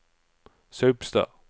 Saupstad